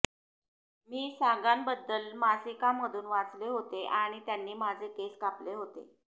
मी सागांबद्दल मासिकांमधून वाचले होते आणि त्यांनी माझे केस कापले होते